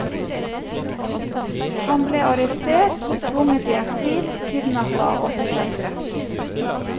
Han ble arrestert, tvunget i eksil, kidnappet og forsøkt drept.